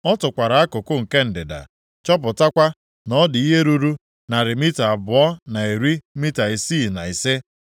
Ọ tụkwara akụkụ nke ndịda, chọpụtakwa na ọ dị ihe ruru narị mita abụọ na iri mita isii na ise.